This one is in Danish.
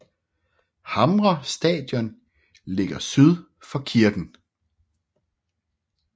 Hamre Stadion ligger syd for kirken